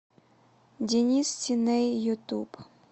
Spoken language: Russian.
денис синэй ютуб